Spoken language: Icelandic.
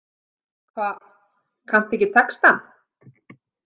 Hva, kanntu ekki textann?